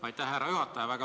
Aitäh, härra juhataja!